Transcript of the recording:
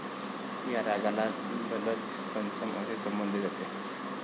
या रागाला ललत पंचम असे संबोधले जाते.